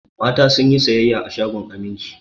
Mata sun yi sayayya a shagon Aminci.